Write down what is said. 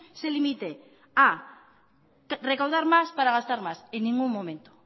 se limite a recaudar más para gastar más en ningún momento